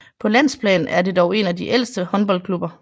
På landsplan er det dog en af de ældste håndboldklubber